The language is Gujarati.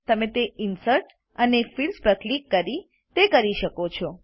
તમે તે ઇન્સર્ટ અને ફિલ્ડ્સ પર ક્લિક કરી કરી શકો છો